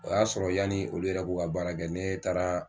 O y'a sɔrɔ yani olu yɛrɛ k'u ka baara kɛ nee taaraa